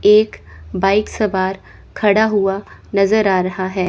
एक बाइक सवार खड़ा हुआ नज़र आ रहा है।